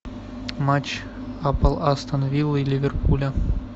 матч апл астон виллы и ливерпуля